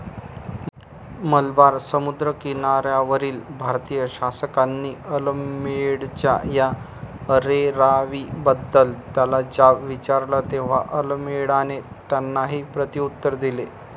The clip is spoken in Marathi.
मलबार समुद्रकिनाऱ्यावरील भारतीय शासकांनी अल्मेडाच्या या अरेरावीबद्दल त्याला जाब विचारला तेव्हा अल्मेडाने त्यांनाही प्रत्युत्तर दिले.